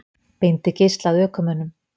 Beindi geisla að ökumönnum